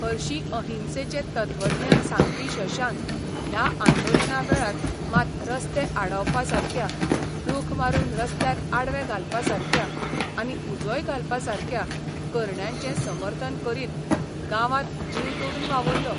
हरशीं अहिंसेचें तत्वज्ञान सांगपी शशांक ह्या आंदोलना वेळार मात रस्ते आडावपासारक्या, रूख मारून रस्त्यार आडवे घालपासारक्या आनी उजोय घालपा सारक्या करण्यांचें समर्थन करीत गांवांत जीव तोडून वावुरलो.